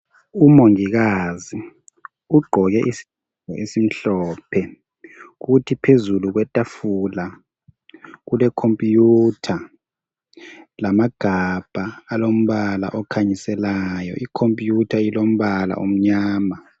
Umongikazi ugqoke isigqoko esimhlophe kuthi phezulu kwetafula kule computer lamagabha alombala okhanyiselayo .Icomputer ilombala omnyama.